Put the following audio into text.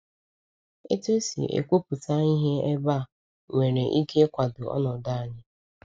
Otu esi ekwupụta ihe ebe a nwere ike ịkwado ọnọdụ anyị.